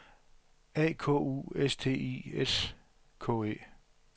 A K U S T I S K E